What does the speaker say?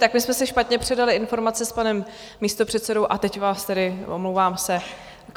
Tak my jsme si špatně předali informace s panem místopředsedou a teď vás tedy... omlouvám se.